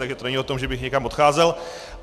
Takže to není o tom, že bych někam odcházel.